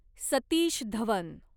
Satish Dhawan